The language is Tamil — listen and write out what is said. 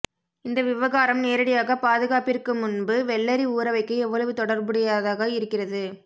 இந்த விவகாரம் நேரடியாக பாதுகாப்பிற்கு முன்பு வெள்ளரி ஊறவைக்க எவ்வளவு தொடர்புடையதாக இருக்கிறது